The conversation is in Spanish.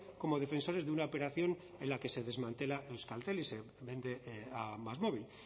como defensores de una operación en la que se desmantela euskaltel a másmóvil